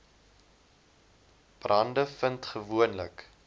brande vind gewoonlik